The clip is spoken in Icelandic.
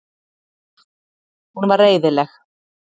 Hún var reiðileg.